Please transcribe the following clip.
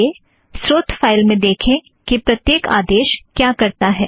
आइए स्रोत फ़ाइल में देखें कि प्रत्येक आदेश क्या करता है